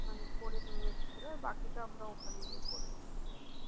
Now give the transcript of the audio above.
মানে করে নিয়ে এসছিল আর বাকিটা আমরা ওখানে গিয়ে করে নিয়েছিল।